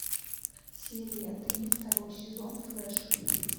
серия три второй сезон флэш